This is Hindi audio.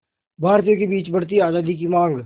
भारतीयों के बीच बढ़ती आज़ादी की मांग